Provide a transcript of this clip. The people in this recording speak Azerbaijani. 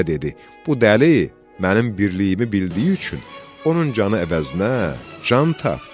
Bu dəli mənim birliyimi bildiyi üçün, onun canı əvəzinə can tap.